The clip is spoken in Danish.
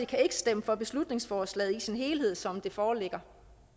kan ikke stemme for beslutningsforslaget i sin helhed som det foreligger